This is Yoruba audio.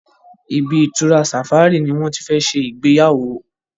ibi-itura safari ní wón tí fè ṣe Ìgbéyàwó